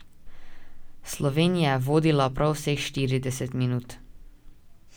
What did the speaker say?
Slovenija je vodila prav vseh štirideset minut.